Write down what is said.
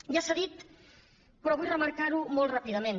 ja s’ha dit però vull remarcarho molt ràpidament